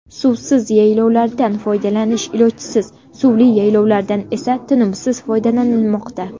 Suvsiz yaylovlardan foydalanish ilojsiz, suvli yaylovlardan esa tinimsiz foydalanilmoqda.